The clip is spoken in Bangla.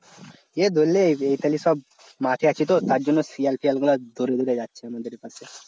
এ ধরলে এখালে সব মাছ আছে তো তার জন্য শিয়াল টিয়াল গুলা দৌড়ে দৌড়ে যাচ্ছে আমাদের এখানে